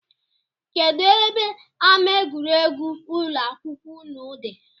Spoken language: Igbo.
Kedụ ebe ama egwuregwu ụlọakwụkwọụnụ dị?